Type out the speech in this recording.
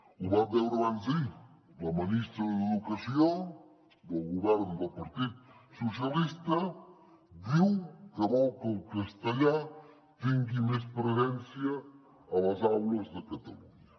ho vam veure abans d’ahir la ministra d’educació del govern del partit socialista diu que vol que el castellà tingui més presència a les aules de catalunya